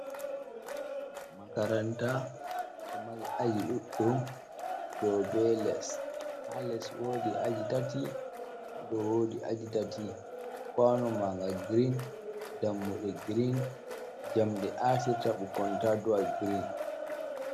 Makaranta ɗo mari aji ɗuɗɗum, dow be les. Haa les woodi aji tati, haa dow woodi aji tati. Kwaano maɲga girin, dammuɗe girin, jamɗe aatirta bikkoi taa do’a girin.